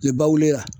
Ne ba wulila